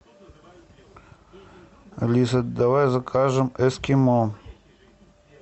алиса давай закажем эскимо